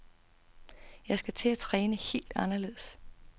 Jeg skal til at træne helt anderledes.